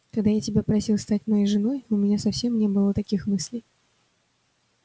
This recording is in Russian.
когда я просил тебя стать моей женой у меня совсем не было таких мыслей